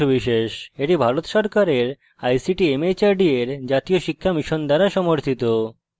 এটি ভারত সরকারের ict mhrd এর জাতীয় সাক্ষরতা mission দ্বারা সমর্থিত